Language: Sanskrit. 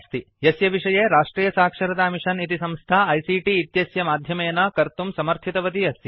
यस्य विषये राष्ट्रियसाक्षरतामिशन् इति संस्था आईसीटी इत्यस्य माध्यमेन कर्तुं समर्थितवती अस्ति